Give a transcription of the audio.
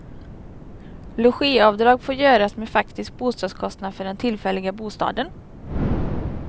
Logiavdrag får göras med faktisk bostadskostnad för den tillfälliga bostaden.